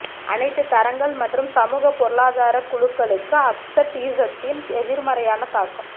அனைத்து தரங்கள் மற்றும் சமூக பொருளாதார குழுக்களுக்கு அப்செட்டீசிசத்தின் எதிர்மறையான தாக்கம்